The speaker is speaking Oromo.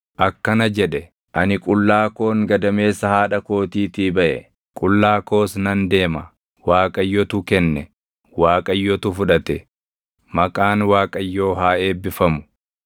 akkana jedhe: “Ani qullaa koon gadameessa haadha kootiitii baʼe; qullaa koos nan deema. Waaqayyotu kenne; Waaqayyotu fudhate; maqaan Waaqayyoo haa eebbifamu.”